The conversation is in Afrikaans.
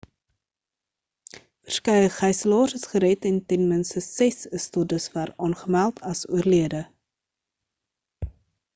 verskeie gyselaars is gered en ten minste ses is tot dusver aangemeld as oorlede